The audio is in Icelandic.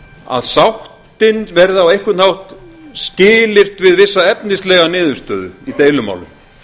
að sáttin verði á einhvern hátt skilyrt við vissa efnislega niðurstöðu í deilumálum